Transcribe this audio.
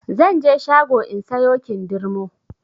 Zanje shago in sayo kindirmo